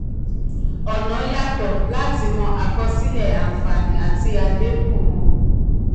ọ̀nà yàtọ̀ láti mọ àkọsílẹ̀ àǹfààní àti àléébù wọn.